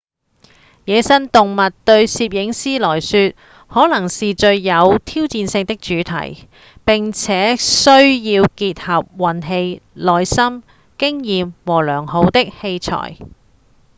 野生動物對攝影師來說可能是最有挑戰性的主題並且需要結合運氣、耐心、經驗和良好的器材